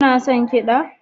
Kuna son kiɗa